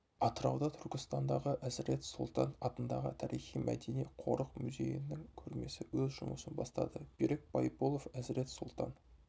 атырауда түркістандағы әзірет сұлтан атындағы тарихи-мәдени қорық музейінің көрмесі өз жұмысын бастады берік байболов әзірет сұлтан